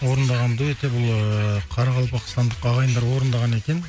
орындаған дуэт те бұл ыыы қарақалпақстандық ағайындар орындаған екен